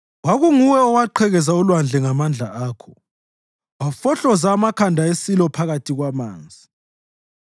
Kwakunguwe owaqhekeza ulwandle ngamandla akho; wafohloza amakhanda esilo phakathi kwamanzi.